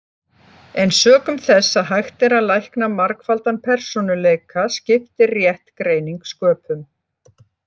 En sökum þess að hægt er að lækna margfaldan persónuleika skiptir rétt greining sköpum.